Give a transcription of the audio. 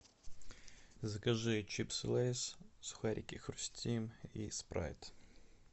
закажи чипсы лейс сухарики хрустим и спрайт